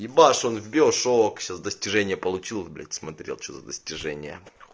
все достижения получил блять смотрел тебе за достижения